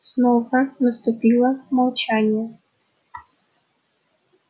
снова наступило молчание